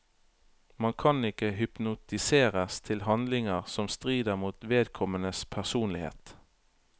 Man kan ikke hypnotiseres til handlinger som strider mot vedkommendes personlighet.